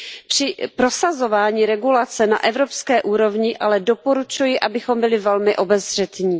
Při prosazování regulace na evropské úrovni ale doporučuji, abychom byli velmi obezřetní.